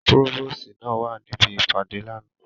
Próvòsi náa wa nibi ipade lánà.